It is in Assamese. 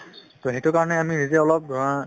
to সেইটো কাৰণে আমি যেতিয়া অলপ অ